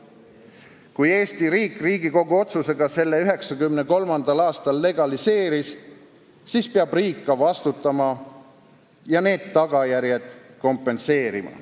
Kui Eesti riik Riigikogu otsusega selle 1993. aastal legaliseeris, siis riik peab ka vastutama ja need tagajärjed kompenseerima.